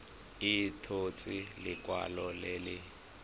a tshotse lekwalo le le